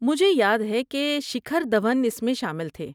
مجھے یاد ہے کہ شیکھر دھون اس میں شامل تھے۔